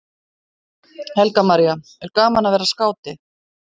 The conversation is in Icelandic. Helga María: Er gaman að vera skáti?